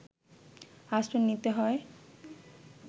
আশ্রয় নিতে হয়